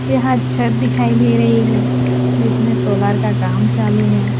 यहां छत दिखाई दे रही है जिसमें सोलर का काम चालू है।